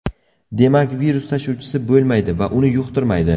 Demak, virus tashuvchisi bo‘lmaydi va uni yuqtirmaydi.